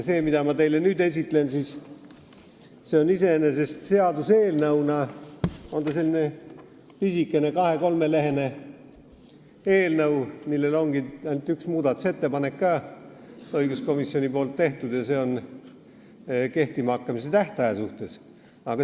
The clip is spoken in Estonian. See, mida ma teile nüüd esitlen, on iseenesest selline pisikene kahe-kolmeleheküljeline eelnõu, millel ongi ainult üks muudatusettepanek, õiguskomisjoni tehtud, ja seegi kehtima hakkamise tähtaja kohta.